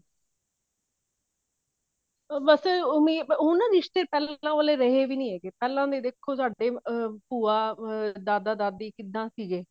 ਬਸ ਓਵੀੰ ਹੁਣ ਨਾ ਰਿਸ਼ਤੇ ਪਹਿਲਾਂ ਵਾਲੇ ਰਹੇ ਵੀ ਨੀ ਹੈਗੇ ਪਹਿਲਾਂ ਦੇ ਦੇਖੀ ਸਾਡੇ ੩ਅਮ ਭੂਆ ਅਮ ਦਾਦਾ ਦਾਦੀ ਕਿਵੇਂ ਸੀਗੇ